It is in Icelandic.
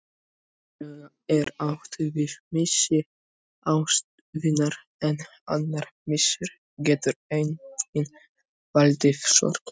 Venjulega er átt við missi ástvinar en annar missir getur einnig valdið sorg.